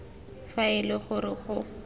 fa e le gore go